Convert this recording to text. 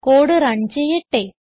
code run ചെയ്യട്ടെ